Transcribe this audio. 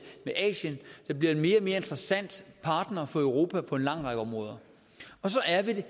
med asien der bliver en mere og mere interessant partner for europa på en lang række områder så er vi